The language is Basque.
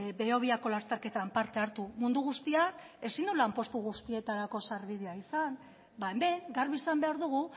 behobiako lasterketan parte hartu mundu guztiak ezin du lanpostu guztietarako sarbidea izan ba hemen garbi esan behar dugu